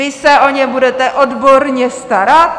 Vy se o ně budete odborně starat?